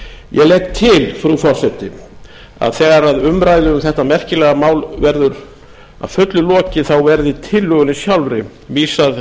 ég legg til frú forseti að þegar umræðu um þetta merkilega mál verður að fullu lokið verði tillögunni sjálfri vísað